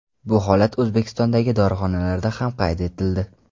Bu holat O‘zbekistondagi dorixonalarda ham qayd etildi .